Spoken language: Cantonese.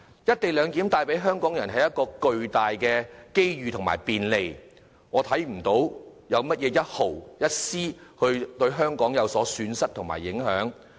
"一地兩檢"帶給香港人巨大機遇和便利，我看不到香港會因此招致絲毫損失，受到任何影響。